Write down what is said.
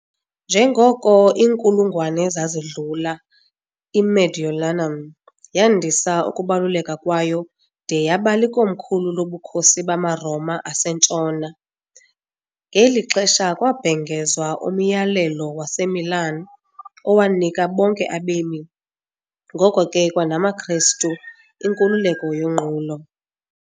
Njengoko iinkulungwane zazidlula, "iMediolanum" yandisa ukubaluleka kwayo de yaba likomkhulu loBukhosi bamaRoma aseNtshona, ngeli xesha kwabhengezwa uMyalelo waseMilan, owanika bonke abemi, ngoko ke kwanamaKristu, inkululeko yonqulo.